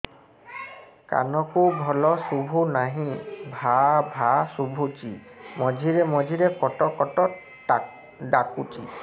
କାନକୁ ଭଲ ଶୁଭୁ ନାହିଁ ଭାଆ ଭାଆ ଶୁଭୁଚି ମଝିରେ ମଝିରେ କଟ କଟ ଡାକୁଚି